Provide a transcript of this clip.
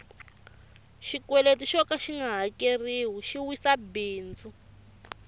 xikweleti xoka xinga hakeriwi xi wisa bindzu